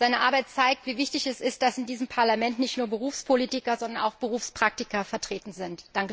Seine Arbeit zeigt, wie wichtig es ist, dass in diesem Parlament nicht nur Berufspolitiker, sondern auch Berufspraktiker vertreten sind.